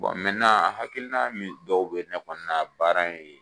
hakilina min dɔw bɛ ne kɔnɔna baara in ye